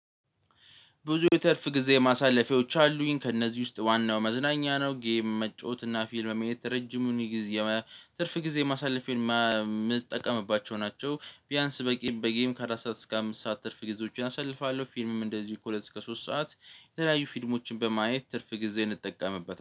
ብዙ የትርፍ ጊዜ ማሳለፊያዎች አሉኝ ከእነዚህ ውስጥ ዋናው መዝናኛ ነው ጌም መጫወት እና ፊልም ማየት ረጅሙን ጊዜ ትርፍ ጊዜ ማሳለፍ ፊልም እምጠቀምባቸው ናቸው። ቢያንስ በጌም በጌም ከአራት ሰዓት እስከ አምስት ሰዓት ትርፍ ጊዜዎችን አሰልፋለሁ። ፊልምም እንደዚህ ከሁለት እስከ ሶስት ሰዓት የተለያዩ ፊልሞችን በማየት ትርፍ ጊዜ እ።